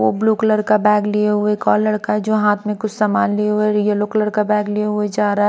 वो blue colour का bag लिए हुए एक और लड़का है जो हाथ में कुछ सामान लिए हुए येलो कलर का बैग लिया हुआ चाह रहा--